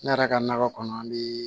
Ne yɛrɛ ka nakɔ kɔnɔ an mi